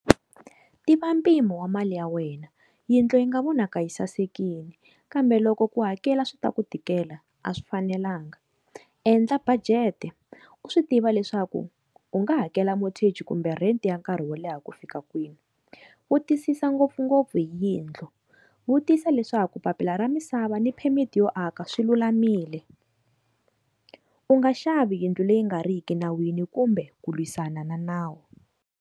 Tiva mpimo wa mali ya wena, yindlu yi nga vonaka yi sasekile kambe loko ku hakela swi ta ku tikela a swi fanelanga. Endla budget-e u swi tiva leswaku u nga hakela mortage kumbe rent ya nkarhi wo leha ku fika kwini vutisisa ngopfungopfu hi yindlu, vutisa leswaku papila ra misava ni permit yo aka swilulamile, u nga xavi yindlu leyi nga riki enawini kumbe ku lwisana na nawu.